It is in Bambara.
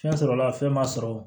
Fɛn sɔrɔla fɛn ma sɔrɔ